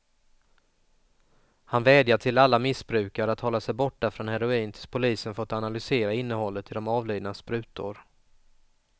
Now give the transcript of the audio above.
Han vädjar till alla missbrukare att hålla sig borta från heroin tills polisen fått analysera innehållet i de avlidnas sprutor.